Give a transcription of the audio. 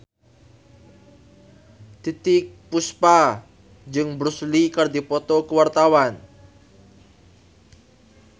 Titiek Puspa jeung Bruce Lee keur dipoto ku wartawan